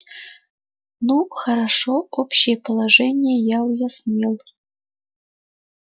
ну хорошо общее положение я уяснил